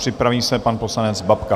Připraví se pan poslanec Babka.